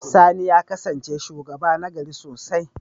Sani ya kasance shugaba nagari sosai.